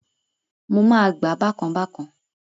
Mo máa gbá-a bákan bákan